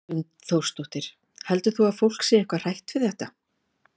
Hrund Þórsdóttir: Heldur þú að fólk sé eitthvað hrætt við þetta?